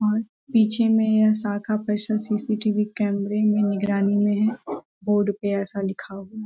और पीछे मे यह शाखा पर्सनल सी.सी.टी.वी कैमरे में निगरानी में है बोर्ड पे ऐसा लिखा हुआ।